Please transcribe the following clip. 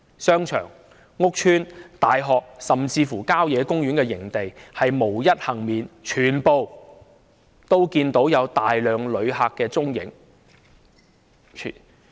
商場、屋邨、大學，甚至郊野公園營地無一幸免，全都可看到有大量旅客的蹤影。